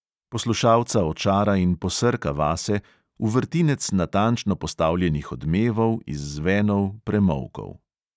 Poslušalca očara in posrka vase, v vrtinec natančno postavljenih odmevov, izzvenov, premolkov.